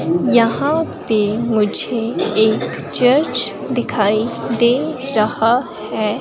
यहां पे मुझे एक चर्च दिखाई दे रहा है।